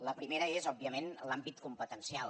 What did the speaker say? la primera és òbviament l’àmbit competencial